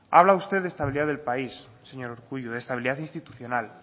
habla usted de estabilidad del país señor urkullu de estabilidad institucional